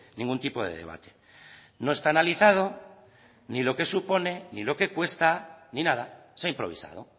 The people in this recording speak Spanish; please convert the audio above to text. ningún tipo de debate no está analizado ni lo que supone ni lo que cuesta ni nada se ha improvisado